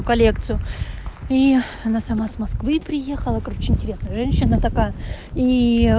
коллекцию и она сама с москвы приехала короче интересная женщина такая и